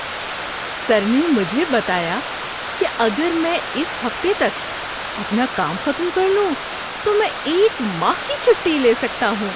سر نے مجھے بتایا کہ اگر میں اس ہفتے تک اپنا کام ختم کر لوں تو میں ایک ماہ کی چھٹی لے سکتا ہوں!